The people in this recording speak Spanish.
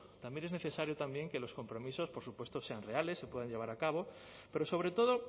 sean reales se puedan llevar a cabo pero sobre todo